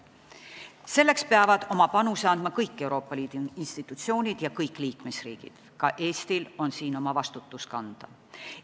Selleks peavad oma panuse andma kõik Euroopa Liidu institutsioonid ja kõik liikmesriigid, ka Eestil on siin oma vastutus kanda.